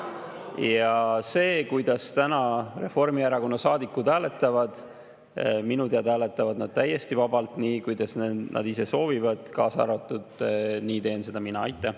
Ja see, kuidas täna Reformierakonna saadikud hääletavad – minu teada hääletavad nad täiesti vabalt, nii, kuidas nad ise soovivad, ja nii teen seda ka mina.